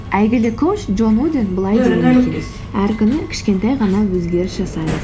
әйгілі коуч джон удин былай деген екен әр күні кішкентай ғана өзгеріс жасаңыз